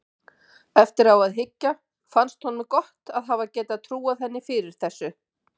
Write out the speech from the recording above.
Eftir á að hyggja finnst honum gott að hafa getað trúað henni fyrir þessu.